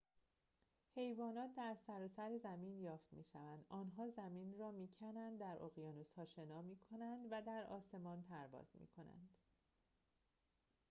حیوانات در سراسر زمین یافت می‌شوند آنها زمین را می‌کنند در اقیانوس‌ها شنا می‌کنند و در آسمان پرواز می‌کنند